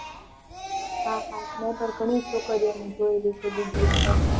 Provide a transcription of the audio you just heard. હાં હાં મેં પણ ઘણી છોકરીઓને જોયેલી છે BBA કરતાં.